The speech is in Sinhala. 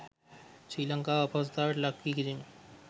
ශ්‍රී ලංකාව අපහසුතාවයකට ලක් කිරීම